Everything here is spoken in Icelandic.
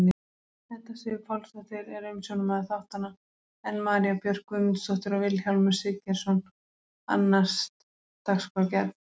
Edda Sif Pálsdóttir er umsjónarmaður þáttanna en María Björk Guðmundsdóttir og Vilhjálmur Siggeirsson annast dagskrárgerð.